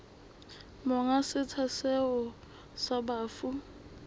monga setsha seo sa bafu